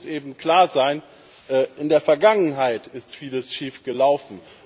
Aber eins muss eben klar sein In der Vergangenheit ist Vieles schief gelaufen.